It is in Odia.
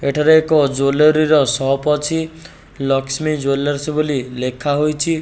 ଏଠାରେ ଏକ ଜୱେଲରୀ ର ସପ୍ ଅଛି ଲକ୍ଷ୍ମୀ ଜୱେଲରସ୍ ବୋଲି ଲେଖା ହେଇଚି ।